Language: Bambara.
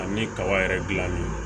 An bɛ kaba yɛrɛ dilan ni